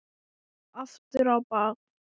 Aftur á bak.